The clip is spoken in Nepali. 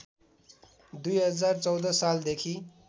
२०१४ सालदेखि